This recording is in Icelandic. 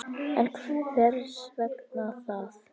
En hvers vegna það?